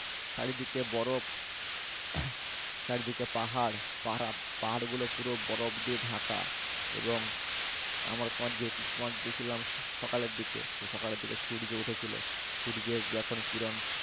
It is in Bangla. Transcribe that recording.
চারিদিকে বরফ চারদিকে পাহাড়। আর পাহাড়গুলো পুরো বরফ দিয়ে ঢাকা। এবং আমার কোন গেছিলাম সকালের দিকে তো সকালের দিকে সূর্য উঠেছিল। সূর্যের যখন কিরণ